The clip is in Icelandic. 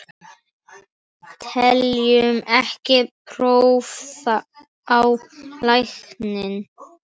Teljum ekki þörf á lækni!